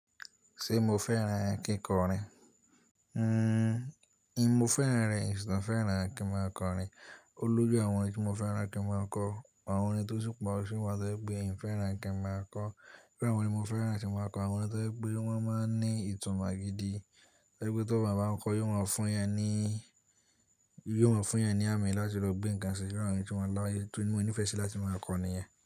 Ṣé mo fẹ́ràn kíkọrin? Mo fẹ́ran rẹ̀, mo fẹ́ràn kí n máa kọrin ó lójú àwọn orin tí mo fẹ́ran kí n máa kọ, àwọn orin tó ṣì pọ̀ ṣì wà tó jẹ́ pé èmi fẹ́ràn kí n máa kọ ọ́. Irú àwọn orin tí mo fẹ́ran tí n máa kọ mọ àwọn ohun tó ń gbé wọ́n máa ń ní ìtàn magidi, tẹ́ gbé tó bá máa ń kọ yóò máa fún'yàn ní, yóò máa fún'yàn ní àmì láti lọ gbé nǹkan ṣe irú àwọn orin tí wọ́n lá, tí mo nífẹ̀ẹ́ sí láti máa kọ nìyẹn.